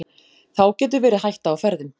Þá getur verið hætta á ferðum.